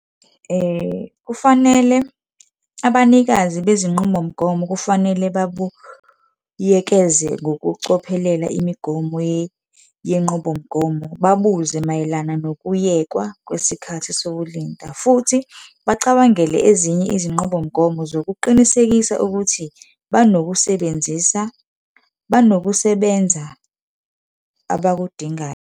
Kufanele abanikazi bezinqubomgomo kufanele babuyekeze ngokucophelela imigomo yenqubomgomo. Babuze mayelana nokuyekwa kwesikhathi sokulinda, futhi bacabangele ezinye izinqubomgomo zokuqinisekisa ukuthi banokusebenzisa, banokusebenza abakudingayo.